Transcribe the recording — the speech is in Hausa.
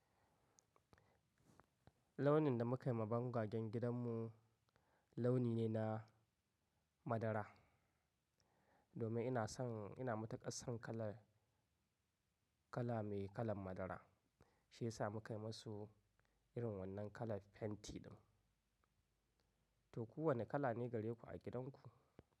Launin da muka yi ma bongagen gidanmu launi ne na madara. Domin ina son, ina matuƙar son kalar kala mai kalan madara. Shi ya sa muka yi musu irin wannan kalar fenti ɗin. To ku wane kala ne gare ku a gidanku?